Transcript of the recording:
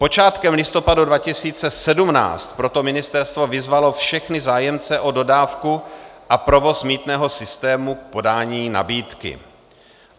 Počátkem listopadu 2017 proto ministerstvo vyzvalo všechny zájemce o dodávku a provoz mýtného systému k podání nabídky.